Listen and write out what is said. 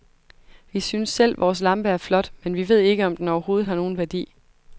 Vi synes selv, vores lampe er flot, men vi ved ikke, om den overhovedet har nogen værdi.